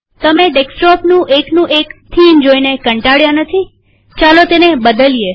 તમે ડેસ્કટોપનું એક નું એક થીમ જોઇને કંટાળ્યા નથીચાલો તેને બદલીએ